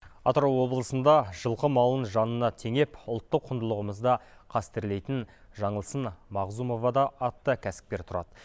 атырау облысында жылқы малын жанына теңеп ұлттық құндылығымызды қастерлейтін жаңылсын мағзумовада атты кәсіпкер тұрады